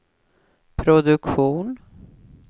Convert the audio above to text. produktion